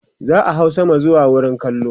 zasu hau sama zuwa wurin kallo